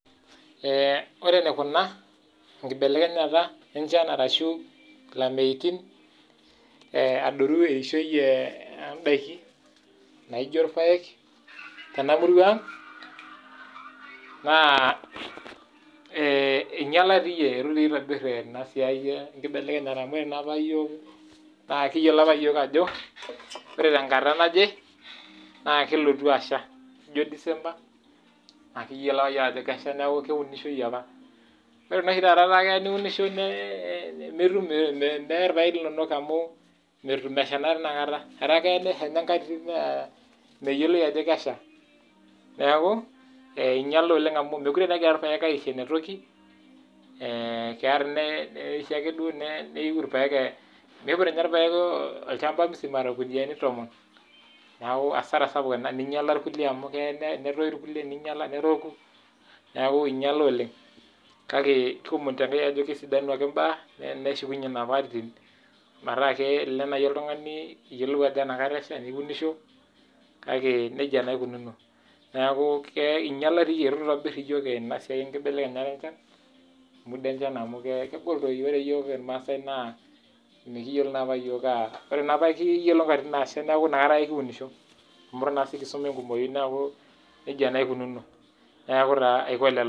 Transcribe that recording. Ore te kuna, te kibelekenyata enchan ashu lameitin adolu eishoi oo ndaiki naijo irpaek tena Murray ang naa inyalaari, etu naa itobirr ena siai enkibelekenyata amu ore naa opa iyiok naa kiyiolo opa iyiok ajo ore tenkata naje naa kelotu asha, ijo December akeyiloi ajo kelo asha neeku keunishoi opa. Ore naa oshi taata netaa keya niunisho never irpaek linonok amu metum mesha naa inakata. Etaa keya nesha enkata nimeyioloi ajo kesha. Neeku einyala oleng amu mekure egira irpaek aisho enetoki olee keya neisho ake irpaek duo, miiput ninye irpaek olchamba musima irkunuyiani tomon. Neeku hasara sapuk ena ninyala irkulie amu keya netoyu ninyala, neroku, neeku inyala oleng . Kake kiomonito enkai ajo kesidanu ake imbaak neshukunye InfoPath atitin metaa kelo naai oltung'ani iyiolou ajo enakata esha niunisho. Kake neija naa eikununo. Neeku inyalari, eitu eitobirr iyiok ena siai enkibelekenya oonkat naa amu kegol doi. Ore iyiok irmaasai naa mekiyiolo naa opa iyiok, ore naa opa kiyiolo nkatitin naasha neeku inakata kiunisho amu etu kisuma enkumoi neeku nija naa eikununo, neeku taa aiko lelo